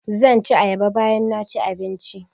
Zan ci ayaba bayan naci abinci